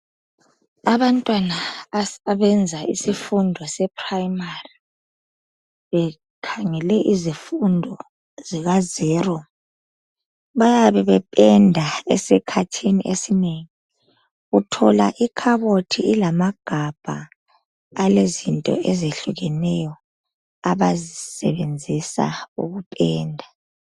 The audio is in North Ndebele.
Abantwana abenza isifundo sePrimary bekhangele isifundo sika zero. Bayabe bependa esikhathini esinengi, uthola ikhabothi ilamagabha alezinto ezehlukeneyo abazisebenzisa ukupenda.